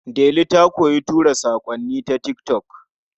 Delu ta koyi tura saƙonni ta tik tok.